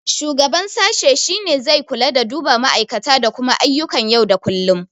Shugaban sashe shine zai kula da duba ma'aikata da kuma ayyukan yau da kullum.